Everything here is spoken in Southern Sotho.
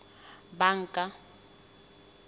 banka